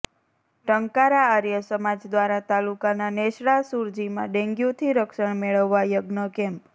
ટંકારા આર્ય સમાજ દ્વારા તાલુકાના નેસડા સુરજીમાં ડેન્ગ્યુથી રક્ષણ મેળવવા યજ્ઞ કેમ્પ